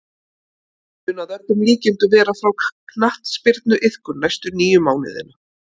Hann mun að öllum líkindum vera frá knattspyrnuiðkun næstu níu mánuðina.